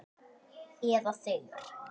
Eða þeir.